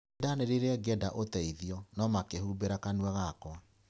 Nĩ ndaanĩrĩire ngĩenda ũteithio, no makĩhumbĩra kanua gakwa.